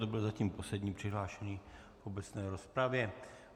To byl zatím poslední přihlášený v obecné rozpravě.